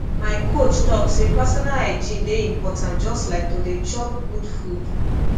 my coach talk say personal hygiene dey important just like to dey chop good food